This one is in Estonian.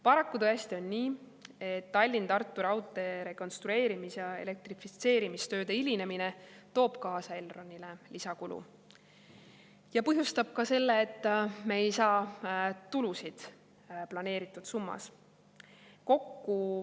" Paraku tõesti on nii, et Tallinna–Tartu raudtee rekonstrueerimis‑ ja elektrifitseerimistööde hilinemine toob kaasa Elronile lisakulu ja põhjustab selle, et me ei saa tulusid planeeritud summas.